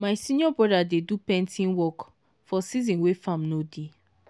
my senior brother dey do painting work for season wey farm no dey.